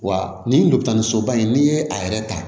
Wa nin dɔkitɛrisoba in n'i ye a yɛrɛ ta